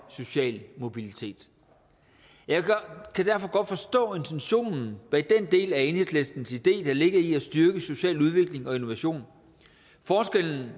sociale mobilitet jeg kan derfor godt forstå intentionen bag den del af enhedslistens idé der ligger i at styrke social udvikling og innovation forskellen